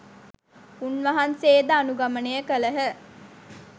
උන්වහන්සේ ද අනුගමනය කළහ.